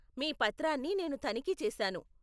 మీ పత్రాన్ని నేను తనిఖీ చేశాను.